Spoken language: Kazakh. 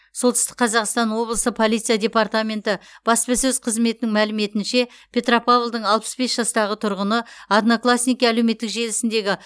солтүстік қазақстан облысы полиция департаменті баспасөз қызметінің мәліметінше петропавлдың алпыс бес жастағы тұрғыны одноклассники әлеуметтік желісіндегі